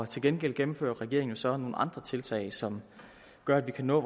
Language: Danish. til gengæld gennemfører regeringen så nogle andre tiltag som gør at vi kan nå